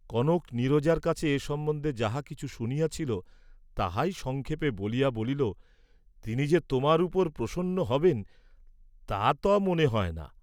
কনক নীরজার কাছে এ সম্বন্ধে যাহা কিছু শুনিয়াছিল তাহাই সংক্ষেপে বলিয়া বলিল, তিনি যে তোমার উপর প্রসন্ন হবেন তা ত মনে হয় না।